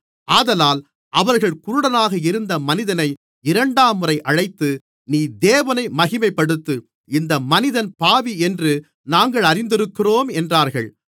ஆதலால் அவர்கள் குருடனாக இருந்த மனிதனை இரண்டாம்முறை அழைத்து நீ தேவனை மகிமைப்படுத்து இந்த மனிதன் பாவி என்று நாங்கள் அறிந்திருக்கிறோம் என்றார்கள்